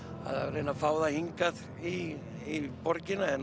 að reyna að fá þau hingað í borgina er